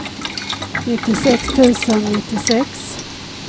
nittiosex tusen nittiosex